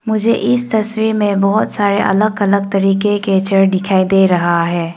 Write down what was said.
मुझे इस तस्वीर में बहुत सारे अलग अलग तरीके के चेयर दिखाई दे रहा है।